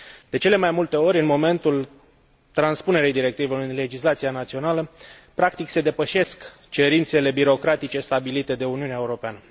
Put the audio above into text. De cele mai multe ori, în momentul transpunerii directivelor în legislația națională, practic se depășesc cerințele birocratice stabilite de Uniunea Europeană.